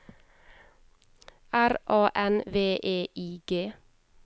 R A N V E I G